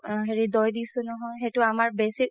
হেৰি দৌ দিছো নহয় সেইটো আমাৰ বেচি